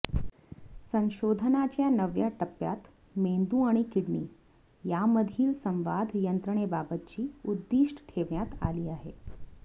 संशोधनाच्या नव्या टप्प्यात मेंदू आणि किडनी यामधील संवाद यंत्रणेबाबतची उद्दिष्ट ठेवण्यात आली आहेत